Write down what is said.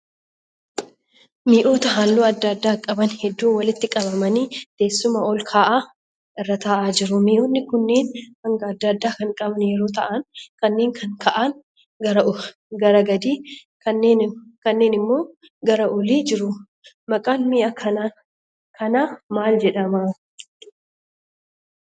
Mi'oota halluu adda addaa qaban hedduun walitti qabamanii teessuma ol ka'aa irra tahaa jiru. Mi'oonni kunneen hanga adda addaa kan qaban yeroo tahaan kanneen kan ka'aan gara gadii ka'aan immoo gara olii jru. Maqaan mi'a kanaa maal jedhama?